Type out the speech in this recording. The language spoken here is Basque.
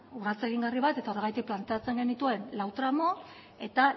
urrats egingarri bat eta horregatik planteatzen genituen lau tramu eta